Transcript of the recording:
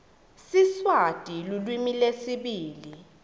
siswati lulwimi lwesibili